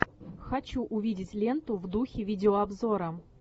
хочу увидеть ленту в духе видеообзора